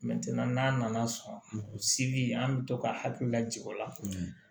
n'a nana sɔn sigi an bɛ to ka hakililajigi o la